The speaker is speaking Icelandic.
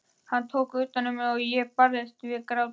Hann tók utan um mig og ég barðist við grátinn.